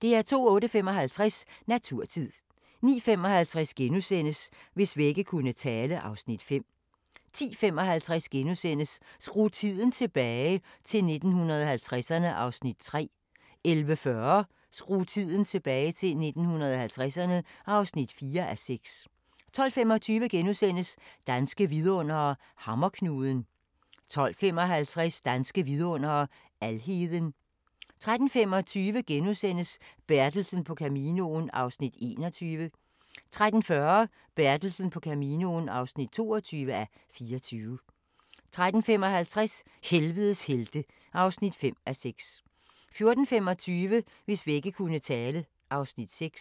08:55: Naturtid 09:55: Hvis vægge kunne tale (Afs. 5)* 10:55: Skru tiden tilbage – til 1950'erne (3:6)* 11:40: Skru tiden tilbage – til 1950'erne (4:6) 12:25: Danske vidundere: Hammerknuden * 12:55: Danske Vidundere: Alheden 13:25: Bertelsen på Caminoen (21:24)* 13:40: Bertelsen på Caminoen (22:24) 13:55: Helvedes helte (5:6) 14:25: Hvis vægge kunne tale (Afs. 6)